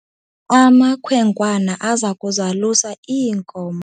Amakhwenkwana aza kuzalusa iinkomo.